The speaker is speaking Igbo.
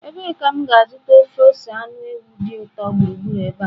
Ebee ka m ga-azụta ofe ose anụ ewu dị ụtọ gburugburu ebe a?